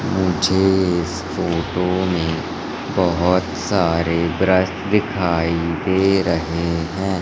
मुझे इस फोटो में बहोत सारे ब्रश दिखाई दे रहे हैं।